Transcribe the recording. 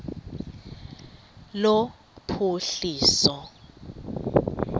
lophuhliso